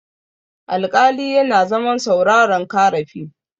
alƙali yana zaman sauraron karafi